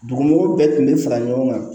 Dugu mɔgɔw bɛɛ tun bɛ fara ɲɔgɔn kan